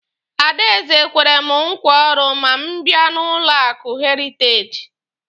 Adaeze kwere mụ nkwa ọrụ ma m bịa n'ụlọ akụ heritaji.